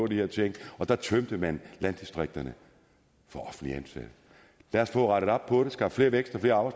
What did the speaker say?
de her ting og der tømte man landdistrikterne for offentligt ansatte lad os få rettet op på det skabt mere vækst og